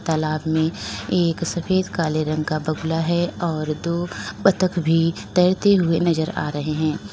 तालाब में एक सफेद काले रंग का बंगला है और दो बत्तख भी तैरते हुए नजर आ रहे हैं।